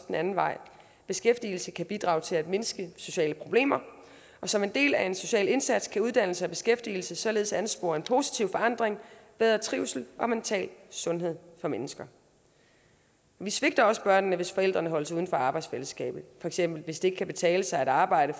den anden vej beskæftigelse kan bidrage til at mindske sociale problemer og som en del af en social indsats kan uddannelse og beskæftigelse således anspore en positiv forandring bedre trivsel og mental sundhed for mennesker vi svigter også børnene hvis forældrene holdes uden for arbejdsfællesskabet for eksempel hvis det kan betale sig at arbejde